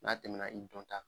N'a tɛmɛna i dɔnta